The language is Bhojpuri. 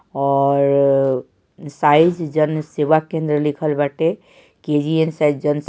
और साइज जन सेवा केन्द्र लिखल बाटे के_जी_एन जन से--